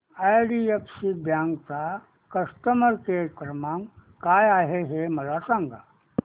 IDFC bank चा customer care क्रमांक काय आहे हे मला सांगा